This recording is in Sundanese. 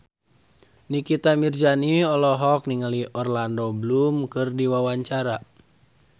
Nikita Mirzani olohok ningali Orlando Bloom keur diwawancara